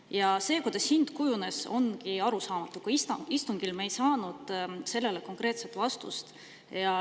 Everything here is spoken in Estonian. Ja see, kuidas hind kujunes, ongi arusaamatu, istungil me ei saanud sellele konkreetset vastust.